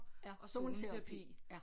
Ja zoneterapi ja